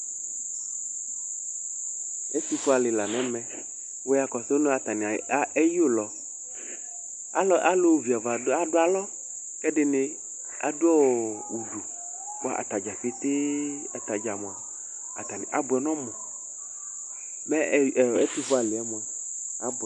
Ɛtʋ fue alɩ la nɛmɛWʋ ya kɔsʋ nʋ atanɩ a ,eyʋlɔ Alʋ viava adʋ alɔ ,kɛdɩnɩ adʋ ɔɔ ,bʋa ,atadza petee, atadza mʋa, atanɩ abʋɛ nʋ ɔmʋ Mɛ ɛ ɛtʋ fue alɩɛ mʋa ,abʋɛ